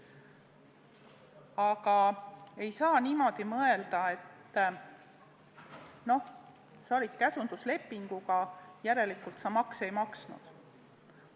Aga ei saa niimoodi mõelda, et noh, sa töötasid käsunduslepinguga, järelikult sa makse ei maksnud.